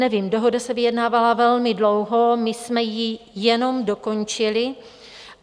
Nevím, dohoda se vyjednávala velmi dlouho, my jsme ji jenom dokončili.